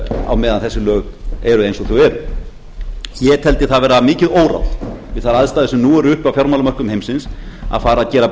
á meðan þessi lög eru eins og þau eru ég teldi það vera mikið óráð við þær aðstæður sem nú eru uppi á fjármálamörkuðum heimsins að fara að gera